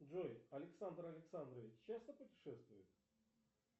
джой александр александрович часто путешествует